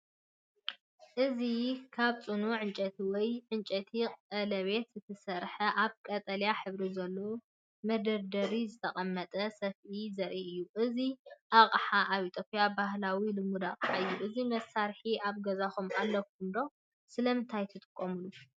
እዚ ካብ ጽኑዕ ዕንጨይቲ ወይ ዕንጨይቲ ቀለቤት ዝተሰርሐ፣ ኣብ ቀጠልያ ሕብሪ ዘለዎ መደርደሪ ዝተቐመጠ ሰፍኢ ዘርኢ እዩ። እዚ ኣቕሓ ኣብ ኢትዮጵያ ባህላዊ ልሙድ ኣቅሓ እዩ። እዚ መሳርሒ ኣብ ገዛኹም ኣለኩም ድዩ? ስለምንታይ ትጥቀመሉ?